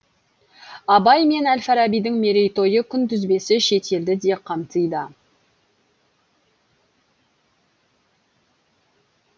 абай мен әл фарабидің мерейтойы күнтізбесі шетелді де қамтиды